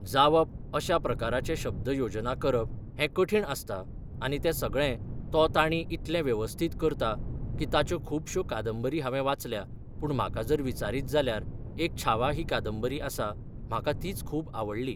जावप अश्या प्रकाराचे शब्द योजना करप हें कठीण आसता आनी ती सगळें तो ताणी इतलें वेवस्थीत करता की ताच्यो खुबश्यो कादंबरी हांवें वाचल्या पूण म्हाका जर विचारीत जाल्यार एक छावा ही कादंबरी आसा म्हाका तीच खूब आवडली.